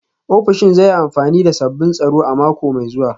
Ofishin zai yi amfani da sabbin tsaro a mako mai zuwa